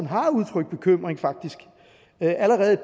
har udtrykt bekymring allerede et